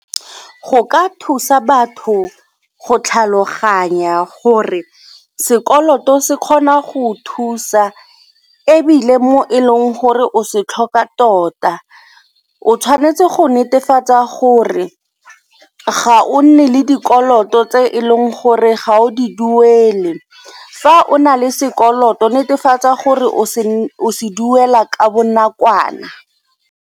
Go ka thusa batho go tlhaloganya gore sekoloto se kgona go o thusa ebile mo e leng gore o se tlhoka tota. O tshwanetse go netefatsa gore ga o nne le dikoloto tse e leng gore ga o di duele, fa o na le sekoloto netefatsa gore o se duela ka bonakwana.